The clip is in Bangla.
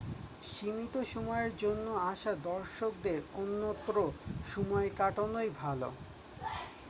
সীমিত সময়ের জন্য আসা দর্শকদের অন্যত্র সময় কাটানোই ভালো